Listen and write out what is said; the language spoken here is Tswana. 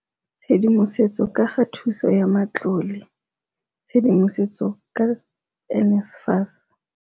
Tshedimosetso ka ga thuso ya matlole, tshedimosetso ka NSFAS.